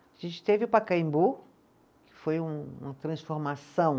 A gente teve o Pacaembu, que foi um uma transformação.